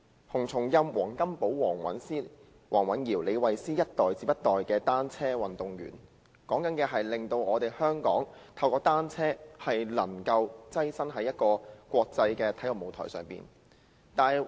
洪松蔭、黃金寶、黃蘊瑤、李慧詩，一代接一代的單車運動員，令香港透過單車躋身國際體育舞台。